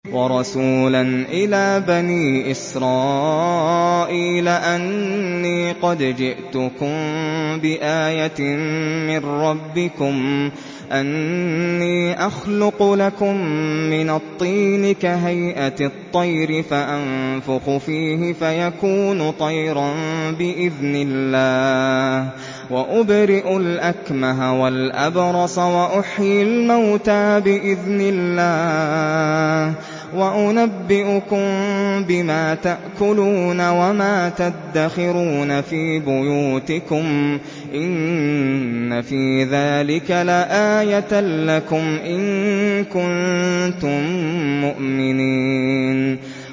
وَرَسُولًا إِلَىٰ بَنِي إِسْرَائِيلَ أَنِّي قَدْ جِئْتُكُم بِآيَةٍ مِّن رَّبِّكُمْ ۖ أَنِّي أَخْلُقُ لَكُم مِّنَ الطِّينِ كَهَيْئَةِ الطَّيْرِ فَأَنفُخُ فِيهِ فَيَكُونُ طَيْرًا بِإِذْنِ اللَّهِ ۖ وَأُبْرِئُ الْأَكْمَهَ وَالْأَبْرَصَ وَأُحْيِي الْمَوْتَىٰ بِإِذْنِ اللَّهِ ۖ وَأُنَبِّئُكُم بِمَا تَأْكُلُونَ وَمَا تَدَّخِرُونَ فِي بُيُوتِكُمْ ۚ إِنَّ فِي ذَٰلِكَ لَآيَةً لَّكُمْ إِن كُنتُم مُّؤْمِنِينَ